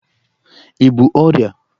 i bú ọrịa?